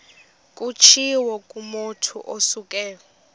kutshiwo kumotu osuke